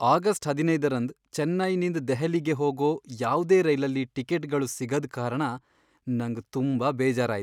August ಹದಿನೈದರಂದ್ ಚೆನ್ನೈನಿಂದ್ ದೆಹಲಿಗೆ ಹೋಗೋ ಯಾವ್ದೇ ರೈಲಲ್ಲಿ ಟಿಕೆಟ್ಗಳು ಸಿಗದ್ ಕಾರಣ ನಂಗ್ ತುಂಬಾ ಬೇಜಾರ್ ಆಯ್ತ್.